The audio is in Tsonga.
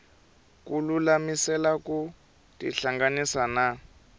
ku lulamisela ku tihlanganisa na